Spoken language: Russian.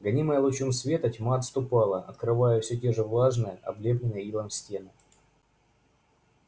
гонимая лучом света тьма отступала открывая все те же влажные облепленные илом стены